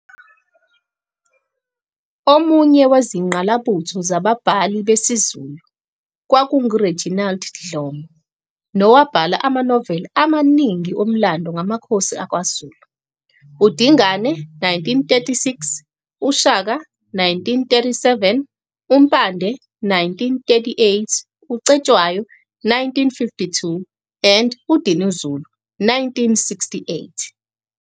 Omunye wezingqalabutho zababhali besiZulu kwakungu Reginald Dhlomo, nowabhala ama Novel amaningi omlando ngamakhosi akwaZulu, uDingane, 1936, uShaka, 1937, uMpande, 1938, uCetshwayo, 1952, and uDinizulu, 1968.